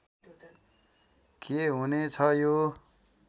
के हुने छ यो